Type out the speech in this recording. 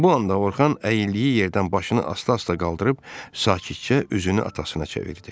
Bu anda Orxan əyildiyi yerdən başını asta-asta qaldırıb sakitcə üzünü atasına çevirdi.